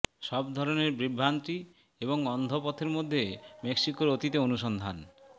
সব ধরনের বিভ্রান্তি এবং অন্ধ পথের মধ্যে মেক্সিকোের অতীতে অনুসন্ধান